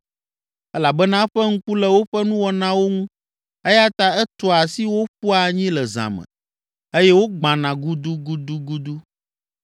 Elabena eƒe ŋku le woƒe nuwɔnawo ŋu eya ta etua asi wo ƒua anyi le zã me, eye wogbãna gudugudugudu.